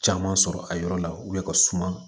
Caman sɔrɔ a yɔrɔ la ka suma